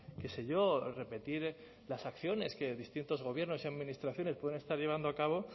qué se yo o repetir las acciones que distintos gobiernos y administraciones pueden estar llevando a cabo